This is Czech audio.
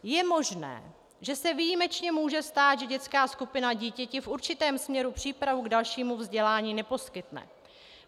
Je možné, že se výjimečně může stát, že dětská skupina dítěti v určitém směru přípravu k dalšímu vzdělání neposkytne.